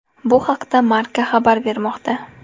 Bu haqda Marca xabar bermoqda .